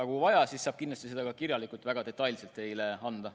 Kui vaja, siis saan ka selle kohta teile kirjalikult väga detailse vastuse anda.